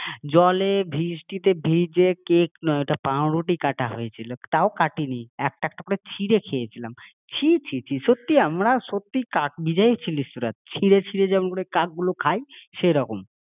জলে বৃষ্টিতে ভিজে ওটা কেক নোই পাউরুটি কাটা হয়েছিল তাও কাটেনি একটা একটা করে ছিঁড়ে খেয়েছিলাম ছিঃ ছিঃ ছিঃ সত্যি আমরা কাক ভিজে ছিলিস তোরা, ছিঁড়ে ছিঁড়ে যেমনভাবে কাক গুলো খায় সেরকম